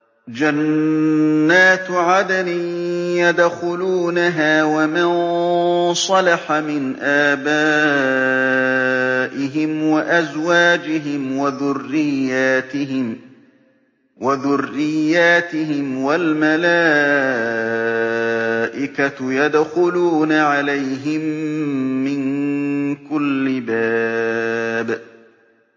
جَنَّاتُ عَدْنٍ يَدْخُلُونَهَا وَمَن صَلَحَ مِنْ آبَائِهِمْ وَأَزْوَاجِهِمْ وَذُرِّيَّاتِهِمْ ۖ وَالْمَلَائِكَةُ يَدْخُلُونَ عَلَيْهِم مِّن كُلِّ بَابٍ